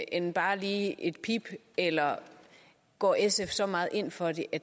end bare lige et pip eller går sf så meget ind for det at